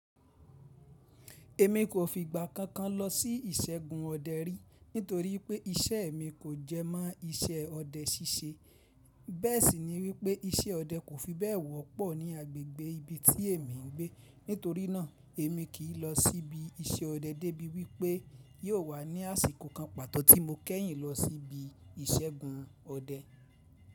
Èmi kò fi ìgbà kankan lọ sí ìṣẹ́gun ọdẹ rí nítorí pé iṣẹ́ mi kò jẹ mọ́ iṣẹ́ ọdẹ ṣíṣe. Bẹ́ẹ̀ sì ni wípé iṣẹ́ ọdẹ kò fi bẹ́ẹ̀ wọ́pọ̀ ní agbègbè ibi tí èmi ń gbé. Nítorí náà, èmi kì lọ sí ibi iṣẹ́ ọdẹ débi wípé yóò wà ní àsìkò kan pàtó tí mo kẹ́yìn lọ sí ibi ìṣẹ́gun ọdẹ.